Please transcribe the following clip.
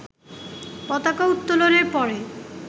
পতাকা উত্তোলনের পরে